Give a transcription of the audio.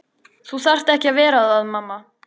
Þú þarft ekki að vera það mamma.